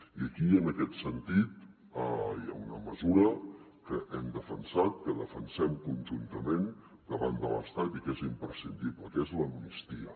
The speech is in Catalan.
i aquí en aquest sentit hi ha una mesura que hem defensat que defensem conjuntament davant de l’estat i que és imprescindible que és l’amnistia